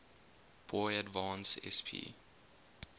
boy advance sp